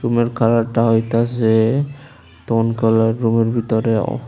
ওর কালারটা হইতাছে কালার রুমের ভিতরেও।